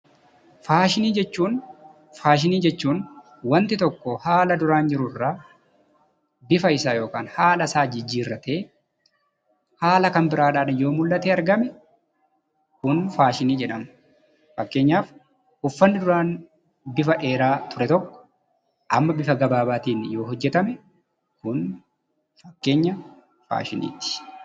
Faashinii jechuun wanti tokko haala duraan jiru irraa bifa isaa yookaan haala isaa jijjiirratee haala kan biraadhaan yoo mul'atee argame kun faashinii jedhama. Fakkeenyaaf uffanni duraan bifa dheeraa ture tokko amma bifa dheeraatiin yoo hojjetame kun fakkeenya faashiniiti.